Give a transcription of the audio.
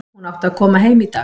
Hún átti að koma heim í dag.